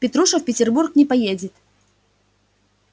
петруша в петербург не поедет